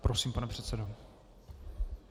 Prosím, pane předsedo.